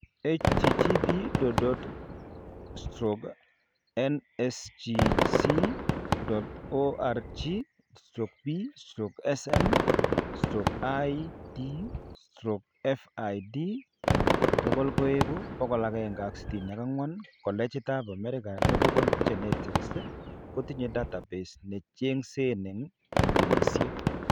http://nsgc.org/p/cm/Id/fid=164 Collegit ab america medical genetics kotinye database necheng'seen eng' clinikisiek